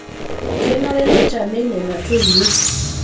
Kenare neitamei nena toiwuo